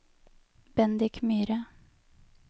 Bendik Myhre